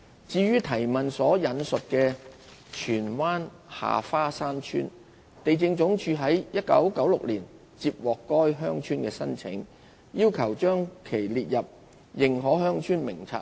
至於質詢所引述的荃灣下花山村，地政總署於1996年接獲該鄉村的申請，要求將其列入《認可鄉村名冊》內。